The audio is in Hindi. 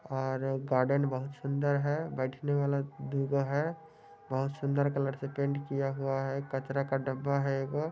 और गार्डन बहुत सुंदर है बैठने वाला दुगो है बहुत सुंदर कलर से पेंट किया हुआ है कचरा का डब्बा है एगो।